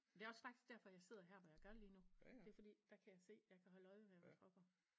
Det er også faktisk derfor jeg sidder her hvor jeg gør lige nu det er fordi der kan jeg se jeg kan holde øje med hvad der foregår